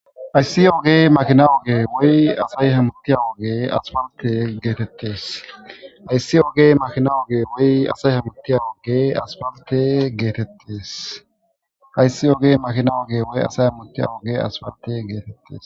Hayiss oge makina oge woyi asayi hamutiya oge asipalitte getettes.